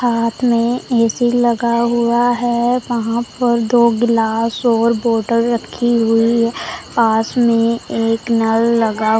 साथ में ए_सी लगा हुआ है वहां पर दो गिलास और बोटल रखी हुई है पास में एक नल लगा हुआ--